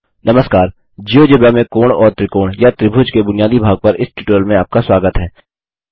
नमस्कार जियोजेब्रा में कोण और त्रिकोण या त्रिभुज के बुनियादी भाग पर इस ट्यूटोरियल में आपका स्वागत है